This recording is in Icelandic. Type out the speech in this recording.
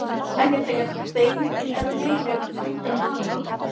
Ekki þegar þeir eru vinir hvítra manna.